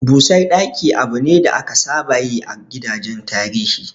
Busar ɗaki abu ne da aka saba yi a gidajen tarihi.